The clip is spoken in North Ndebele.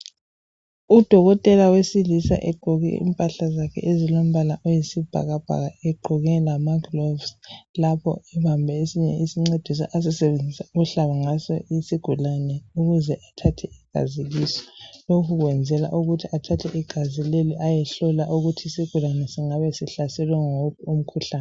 Udokotela wesilisa egqoke impahla zakhe ezilombala oyisibhakabhaka egqoke lamaglovisi lapho ebambe esinye isincediso asisebenzisa ukuhlaba ngaso isigulane ukuze ethathe igazi lokhu kwenzelwa ukuthi athathe igazi leli ayehlola ukuthi isigulane singabe sihlaselwe nguwuphi umkhuhlane